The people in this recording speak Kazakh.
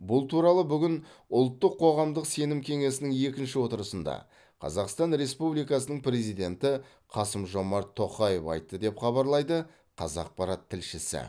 бұл туралы бүгін ұлттық қоғамдық сенім кеңесінің екінші отырысында қазақстан республикасының президенті қасым жомарт тоқаев айтты деп хабарлайды қазақпарат тілшісі